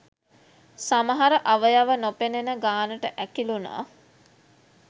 සමහර අවයව නොපෙනෙන ගානට ඇකිලුනා